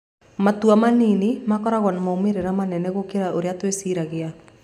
Matua manini makoragwo na moimĩrĩro manene gũkĩra ũrĩa twĩciragia.